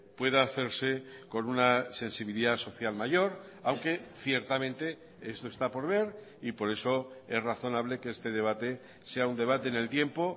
pueda hacerse con una sensibilidad social mayor aunque ciertamente esto está por ver y por eso es razonable que este debate sea un debate en el tiempo